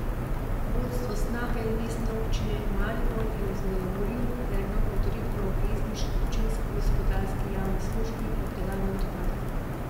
Vodstvo Snage in Mestne občine Maribor je vznejevoljil predlog uredbe o obvezni občinski gospodarski javni službi obdelave odpadkov.